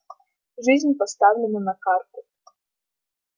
жизнь поставлена на карту